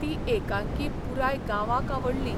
ती एकांकी पुराय गांवांक आवडली.